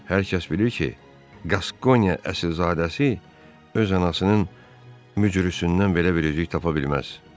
Hər kəs bilir ki, Qaskoniya əsilzadəsi öz anasının müjdüçüsündən belə bir əcüzə tapa bilməz.